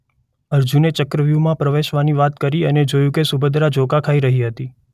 અર્જુને ચક્રવ્યુહમાં પ્રવેશવાની વાત કરી અને જોયું કે સુભદ્રા ઝોકાં ખાઈ રહી હતી.